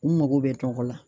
U mago bɛ tɔgɔ la.